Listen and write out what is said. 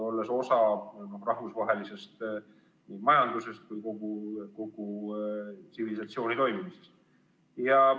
Oleme ju osa rahvusvahelisest majandusest kui kogu tsivilisatsiooni toimimisest.